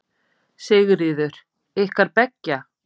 Sigríður: Ykkar beggja?